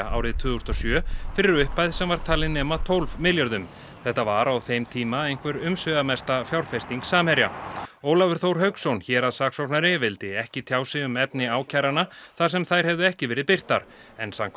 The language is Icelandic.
árið tvö þúsund og sjö fyrir upphæð sem var talin nema tólf milljörðum þetta var á þeim tíma einhver umsvifamesta fjárfesting Samherja Ólafur Þór Hauksson héraðssaksóknari vildi ekki tjá sig um efni ákæranna þar sem þær hefðu ekki verið birtar en samkvæmt